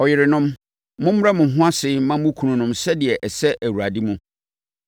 Ɔyerenom, mommrɛ mo ho ase mma mo kununom sɛdeɛ ɛsɛ Awurade mu.